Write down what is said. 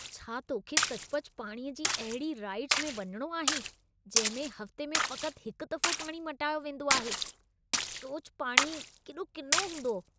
छा तोखे सचुपचु पाणीअ जी अहिड़ी राइडस में वञिणो आहे जहिं में हफ़्ते में फ़क़्ति हिकु दफ़ो पाणी मटायो वेंदो आहे? सोच पाणी केॾो किनो हूंदो।